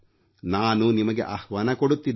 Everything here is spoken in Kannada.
ನಾನು ನಿಮಗೆ ಆಹ್ವಾನ ಕೊಡುತ್ತಿದ್ದೇನೆ